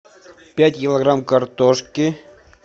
пять килограмм картошки